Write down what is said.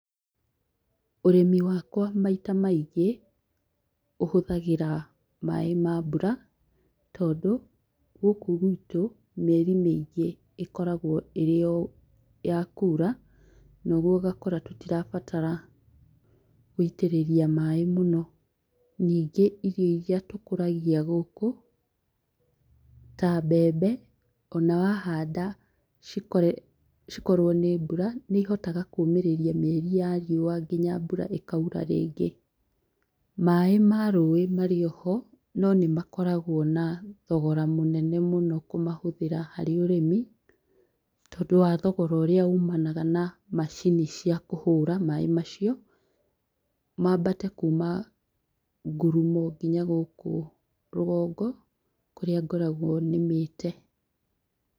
Ũrĩmi wakwa maita maingĩ, ũhũthagĩra maĩ ma mbura tondũ, gũkũ guitũ mĩeri mĩingĩ ĩkoragwo ĩrĩ ya kuura noguo ũgakũra tũtirabatara gũitĩrĩria maĩ mũno. Ningĩ irio iria tũkũragia gũkũ, ta mbembe ona wahanda cikorwo nĩ mbura nĩ ihotaga kũmĩrĩria mĩeri ya riũa nginya mbura ĩkaura rĩngĩ. Maĩ ma rũĩ marĩ oho no nĩ makoragwo na thogora mũnene mũno kũmahũthĩra harĩ ũrĩmi, tondũ wa thogora ũrĩa umanaga na macini cia kũhũra maĩ macio, mambate kuma ngurumo nginya gũkũ rũgongo kũrĩa ngoragwo nĩmĩte